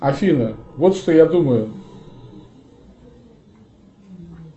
афина вот что я думаю